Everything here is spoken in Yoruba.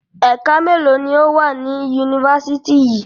Ẹ̀ka mélòó ni ó wà ní Yunifásítì yìí?